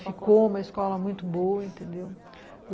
Ficou uma escola muito boa, entendeu?